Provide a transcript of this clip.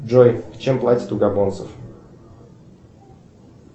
джой чем платят у габонцев